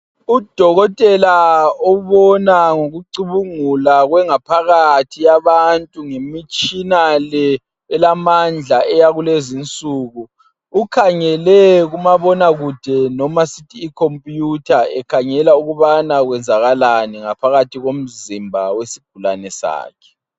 Udokotela ubona ngokucubungula kwengaphakathi yabantu ngemitshina le elamandla eyakulezi insuku ukhangele kumabonakude noma sithi ikhomputha ekhangela ukubana kwenzakalani ngaphakathi komzimba wesigulane sakhe.